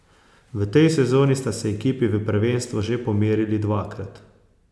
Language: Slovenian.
V tej sezoni sta se ekipi v prvenstvu že pomerili dvakrat.